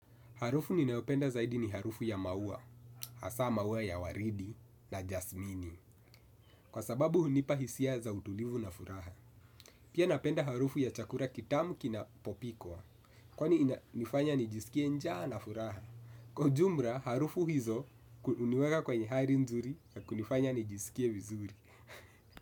Harufu ninaopenda zaidi ni harufu ya maua, hasa maua ya waridi na jasmini. Kwa sababu hunipa hisia za utulivu na furaha. Pia napenda harufu ya chakura kitamu kina popikwa. Kwani ina nifanya nijisikie njaa na furaha. Kwa jumra, harufu hizo kuniweka kwa nye hari nzuri ya kunifanya nijisikie vizuri.